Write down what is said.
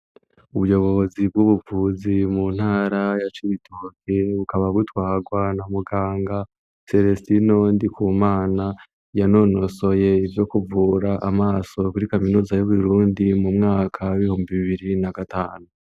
Ubuyobozi bw'ubuvuzi mu ntara ya Cibitoke, bukaba butwagwa na muganga Selestino NDIKUMANA, yanonosoye ivyo kuvura amaso kuri kaminuza y'Uburundi, mu mwaka w'ibihumbi bibiri na gatanu.